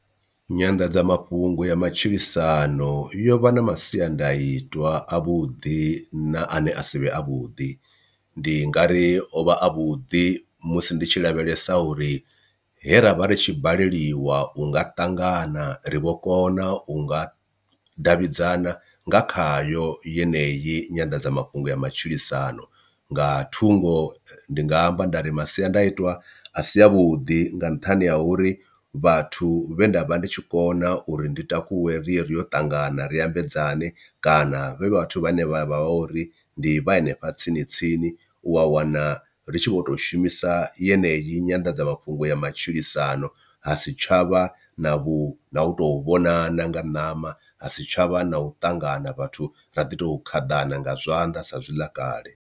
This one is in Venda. Nyanḓadzamafhungo ya matshilisano yo vha na masiandaitwa a vhuḓi na ane asivhe avhuḓi ndi nga ri o vha a vhuḓi musi ndi tshi lavhelesa uri he ravha ri tshi baleliwa unga ṱangana ri vho kona unga davhidzana nga khayo yeneyi nyanḓadzamafhungo ya matshilisano. Nga thungo ndi nga amba nda ri masiandaitwa a si avhuḓi nga nṱhani ha uri vhathu vhe nda vha ndi tshi kona uri ndi takuwe riri yo tangana ri ambedzana kana vhathu vhane vha vha vha uri ndi ndi vha hanefha tsini tsini u a wana ri tshi vho tou shumisa yeneyi nyanḓadzamafhungo ya matshilisano ha si tshavha na vhu na u tou vhonana nga ṋama ha si tshavha na u ṱangana vhathu ra ḓi tou khaḓana nga zwanḓa sa zwi ḽa kale.